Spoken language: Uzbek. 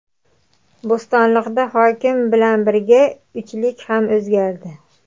Bo‘stonliqda hokim bilan birga uchlik ham o‘zgardi.